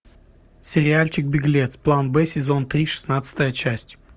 сериальчик беглец план б сезон три шестнадцатая часть